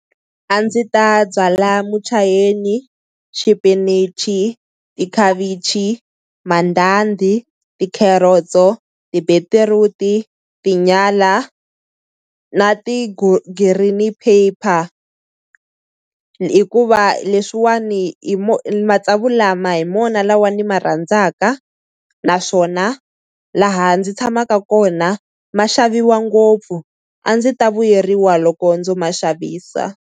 A ndzi ta byala muchayeni, xipinichi tikhavichi, mandhandhi, ti-carrots-o, tibetiruti, tinyala na green pepper hikuva leswiwani hi matsavu lama hi mona lawa ni ma rhandzaka naswona laha ndzi tshamaka kona ma xaviwa ngopfu. A ndzi ta vuyeriwa loko ndzo ma xavisa.